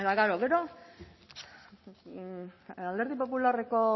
eta klaro gero alderdi popularreko